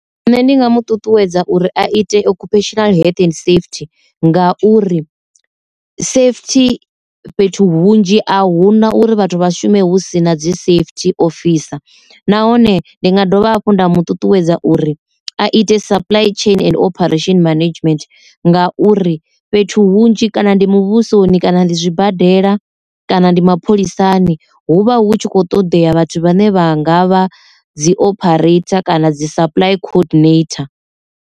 Nṋe ndi nga mu ṱuṱuwedza uri a ite occupational health and safety ngauri safety fhethu hunzhi a huna uri vhathu vha shume hu sina dzi safety officer, nahone ndi nga dovha hafhu nda mu ṱuṱuwedza uri a ite supply chain and operation management ngauri fhethu hunzhi kana ndi muvhusoni kana ndi zwibadela kana ndi mapholisani, huvha hu tshi kho ṱoḓea vhathu vhane vha ngavha dzi operator kana dzi supply co-ordinator.